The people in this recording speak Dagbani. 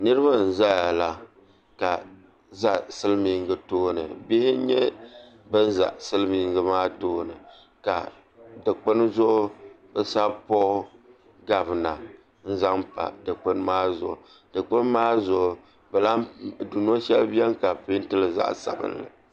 Niraba n ʒɛya la ka ʒɛ silmiingi tooni bihi n nyɛ bin ʒɛ silmiingi maa tooni ka dikpuni zuɣu bi sabi puuo gavina n zaŋ pa dikpuni maa zuɣu dikpuni maa zuɣu dundo shɛli biɛni ka bi peentili zaɣ sabinli